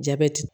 Jabɛti